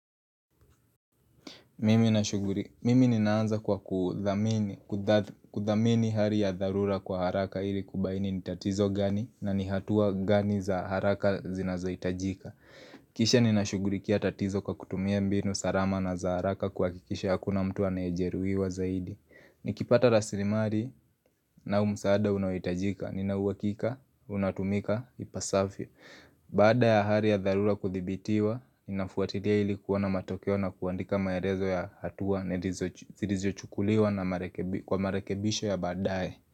Mimi ninaanza kwa kudhamini hali ya dharura kwa haraka ili kubaini ni tatizo gani na ni hatua gani za haraka zinazohitajika Kisha nina shughulikia tatizo kwa kutumia mbinu salama na za haraka kuhakikisha hakuna mtu anajeruiwa zaidi Nikipata rasilimali na umsaada unaohitajika, nina uhakika, unatumika, ipasavyo Baada ya hali ya dharura kuthibitiwa, ninafuatilia ili kuona matokeo na kuandika maelezo ya hatua zilizochukuliwa na kwa marekebisho ya baadae.